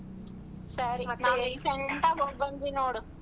ಸರಿ recent ಆಗ್ ಹೋಗ್ಬಂದ್ವಿ ನೋಡು.